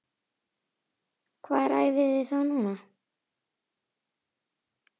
Hvar æfiði þá núna?